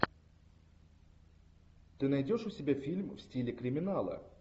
ты найдешь у себя фильм в стиле криминала